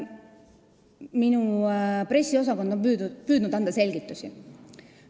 Minu pressiosakond on püüdnud anda selgitusi.